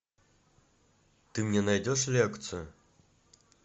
ты мне найдешь лекцию